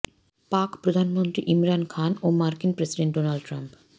পাক প্রধানমন্ত্রী ইমরান খান ও মার্কিন প্রেসিডেন্ট ডোনাল্ড ট্রাম্প